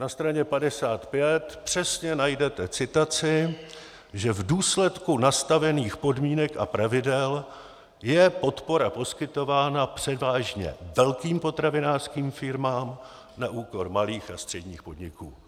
Na straně 55 přesně najdete citaci, že v důsledku nastavených podmínek a pravidel je podpora poskytována převážně velkým potravinářským firmám na úkor malých a středních podniků.